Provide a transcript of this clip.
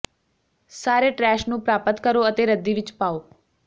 ਸਾਰੇ ਟਰੈਸ਼ ਨੂੰ ਪ੍ਰਾਪਤ ਕਰੋ ਅਤੇ ਰੱਦੀ ਵਿੱਚ ਪਾਓ